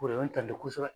O de bɛ n ta di kosɛbɛ